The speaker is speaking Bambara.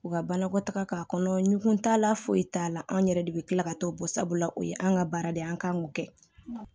U ka banakɔ taga k'a kɔnɔ ɲugu t'a la foyi t'a la anw yɛrɛ de bɛ kila ka t'o bɔ sabula o ye an ka baara de ye an k'an k'o kɛ